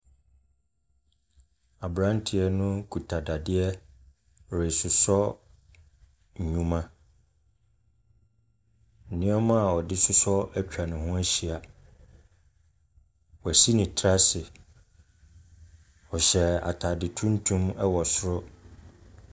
Aberanteɛ no kuta dadeɛ resosɔ nnwuma. Nneɛma a ɔde sosɔ atwa ne ho ahyia. Wasi ne tiri ase. Ɔhyɛ atade tuntum wɔ soro.